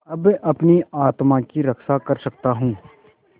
अब अपनी आत्मा की रक्षा कर सकता हूँ